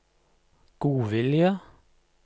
godvilje